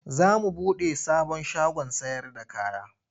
Za mu buɗe sabon shagon sayarda kaya.